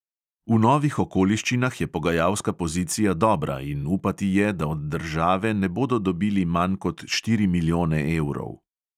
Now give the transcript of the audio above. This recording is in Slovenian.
V novih okoliščinah je pogajalska pozicija dobra in upati je, da od države ne bodo dobili manj kot štiri milijone evrov.